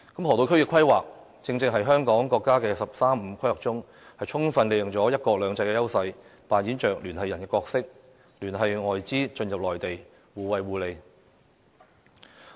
河套區的規劃，正正是香港在國家"十三五"規劃中，充分利用了"一國兩制"的優勢，擔當聯繫人的角色，聯繫外資進入內地，互惠互利。